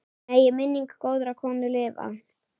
Megi minning góðrar konu lifa.